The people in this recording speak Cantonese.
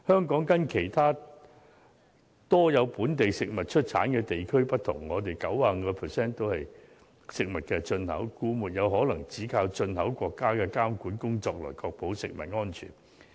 跟其他盛產本地食物的地區不同，香港有 95% 是進口食物，所以不可能只靠進口國家的監管工作來確保食物安全。